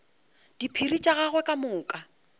diphiri tša gagwe ka moka